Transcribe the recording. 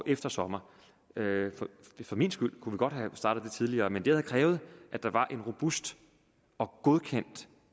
efter sommeren for min skyld kunne vi godt have startet det tidligere men det havde krævet at der var en robust og godkendt